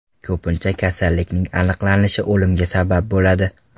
Ko‘pincha kasallikning aniqlanishi o‘limga sabab bo‘ladi.